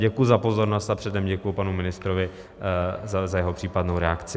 Děkuji za pozornost a předem děkuji panu ministrovi za jeho případnou reakci.